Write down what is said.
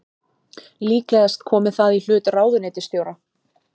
Líklegast komi það í hlut ráðuneytisstjóra